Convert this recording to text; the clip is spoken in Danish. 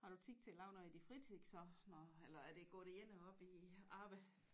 Har du tid til at lave noget i din fritid så når eller er det går det hele op i arbejde